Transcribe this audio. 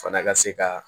Fana ka se ka